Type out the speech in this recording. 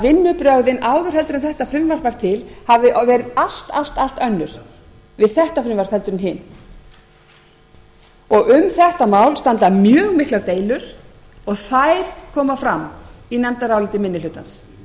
vinnubrögðin áður en þetta frumvarp varð til hafi verið allt allt allt önnur við þetta frumvarp en hin um þetta mál standa mjög miklar deilur og þær koma fram í nefndaráliti minni hlutans